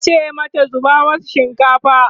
tace mata 'zuba masu shinkafa!"